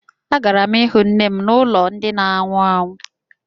Agara m ịhụ nne m n'ụlọ ndi na ánwụ ánwụ